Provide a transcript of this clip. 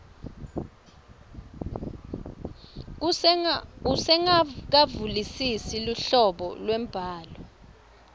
usengakaluvisisi luhlobo lwembhalo